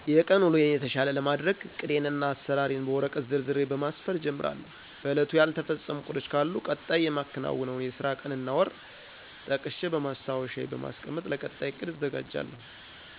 የቀን ውሎየን የተሻለ ለማድረግ እቅዴን እና አሰራሬን በወረቀት ዘርዝሬ በማስፈር እጀምራለሁ። በእለቱ ያልተፈፀሙ እቅዶች ካሉ ቀጣይ የማከናዉነውን የስራ ቀን እና ወር ጠቅሸ በማስታዎሻየ በማስቀመጥ ለቀጣይ እቅድ እዘጋጃለሁ።